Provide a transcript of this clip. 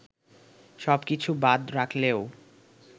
সব কিছু বাদ রাখলেও